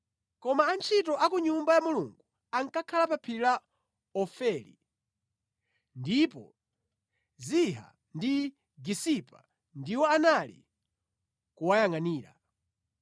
Koma antchito a ku Nyumba ya Mulungu ankakhala pa phiri la Ofeli, ndipo Ziha ndi Gisipa ndiwo anali kuwayangʼanira.